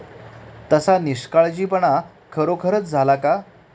तसा निष्काळजीपणा खरोखरच झाला का?